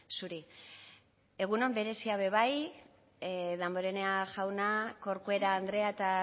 zuri egun on berezia be bai damborenea jauna corcuera andrea eta